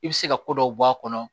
I bɛ se ka ko dɔw bɔ a kɔnɔ